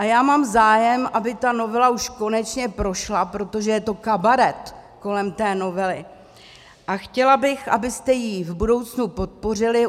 A já mám zájem, aby ta novela už konečně prošla, protože je to kabaret kolem té novely, a chtěla bych, abyste ji v budoucnu podpořili.